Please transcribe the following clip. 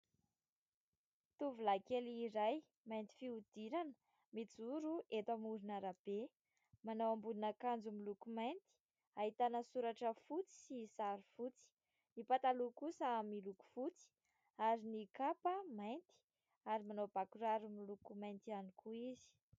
Tovolahy kely iray mainty fihodirana mijoro eto amoron'arabe ; manao ambonin'akanjo miloko mainty, ahitana soratra fotsy sy sary fotsy ; ny pataloha kosa miloko fotsy ary ny kapa mainty ary manao bà kiraro miloko mainty ihany koa izy.